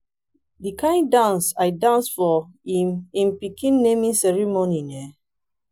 the kin dance i dance for im im pikin naming ceremony eh